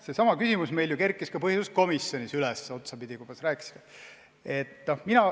Seesama küsimus meil kerkis ju ka põhiseaduskomisjonis üles.